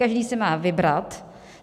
Každý si má vybrat.